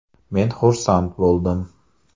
Men xursand bo‘ldim.